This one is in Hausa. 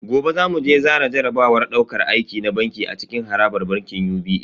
Gobe zamu je zana jarabawar dauƙar aiki na banki a cikin harabar bankin UBA